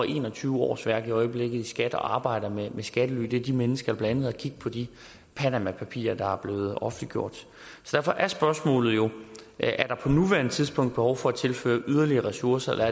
en og tyve årsværk i øjeblikket i skat og arbejder med skattely det er de mennesker der blandt andet har kig på de panamapapirer der er blevet offentliggjort derfor er spørgsmålet jo er der på nuværende tidspunkt behov for at tilføre yderligere ressourcer